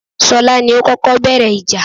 Ṣọlá ni ó kọ́kọ́ bẹ̀rẹ̀ ìjà